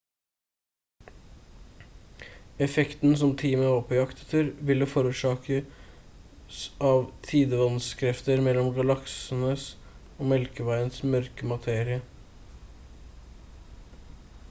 effekten som teamet var på jakt etter ville forårsakes av tidevannskrefter mellom galaksens og melkeveiens mørke materie